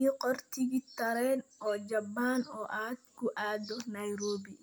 ii qor tigidh tareen oo jaban oo aad ku aado nairobi